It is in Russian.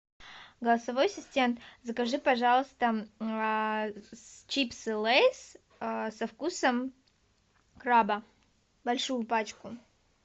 голосовой ассистент закажи пожалуйста чипсы лейс со вкусом краба большую пачку